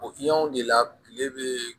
O de la kile bɛ